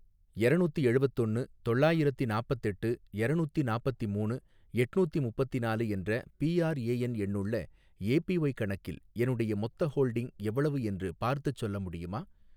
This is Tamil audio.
எரநூத்தி எழுவத்தொன்னு தொள்ளாயிரத்தி நாப்பத்தெட்டு எரநூத்தி நாப்பத்திமூணு எட்நூத்தி முப்பத்திநாலு என்ற பிஆர்ஏஎன் எண்ணுள்ள ஏபிஒய் கணக்கில் என்னுடைய மொத்த ஹோல்டிங் எவ்வளவு என்று பார்த்துச் சொல்ல முடியுமா?